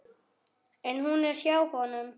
En hún er hjá honum.